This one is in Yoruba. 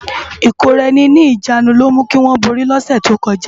Ikóráèni ni ijánú ló jè kiwòn bóri lòsè tókòjá